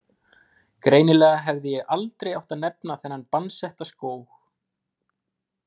Greinilega hefði ég aldrei átt að nefna þennan bannsetta skóg.